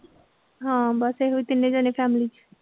ਹਾਂ ਬਸ ਇਹੋ ਤਿੰਨੇ ਜਾਣੇ family ਚ।